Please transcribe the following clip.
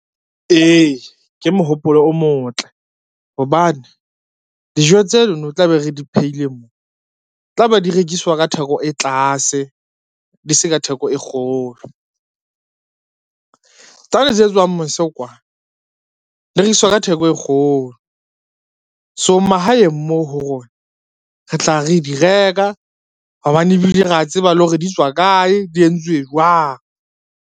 Ee, ke mohopolo o motle hobane, dijo tsenono tla be re di phehile mo, tla be di rekiswa ka theko e tlase di se ka theko e kgolo. Tsane tse tswang mose kwa di rekiswa ka theko e kgolo, so mahaeng moo ho rona re tla re di reka hobane ebile ra tseba le hore di tswa kae, di entswe jwang.